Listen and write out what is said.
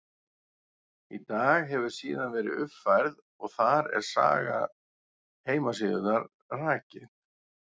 Í dag hefur síðan verið uppfærð og þar er saga heimasíðunnar rakin.